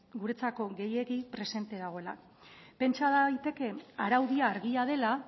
guretzako gehiegi presente dagoela pentsa daiteke araudia argia dela